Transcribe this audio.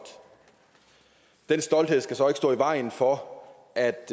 den stolthed skal så ikke stå i vejen for at